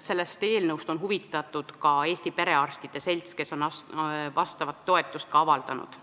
sellest eelnõust on huvitatud ka Eesti Perearstide Selts, kes on oma toetust ka avaldanud.